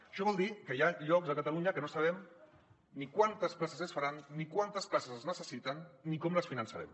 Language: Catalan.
això vol dir que hi ha llocs a catalunya que no sabem ni quantes places s’hi faran ni quantes places s’hi necessiten ni com les finan·çarem